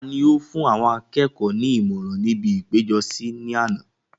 ta ni ó fún àwọn akẹ́kọ̀ọ́ ní ìmọ̀ràn ní ibi ìpéjọsí ní àná?